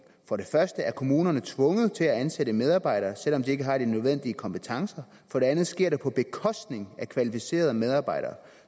for det første er kommunerne tvunget til at ansætte medarbejdere selv om de ikke har de nødvendige kompetencer for det andet sker det på bekostning af kvalificerede medarbejdere